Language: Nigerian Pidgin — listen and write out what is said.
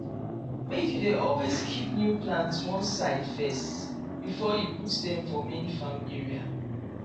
make you dey always keep new plants one side first before you put dem for main farm area